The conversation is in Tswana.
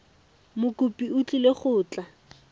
mokopi o tlile go tla